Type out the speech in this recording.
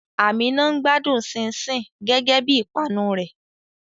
Àmíná ń gbádùn ṣínṣìn gẹ́gẹ́ bí ìpanu rẹ̀.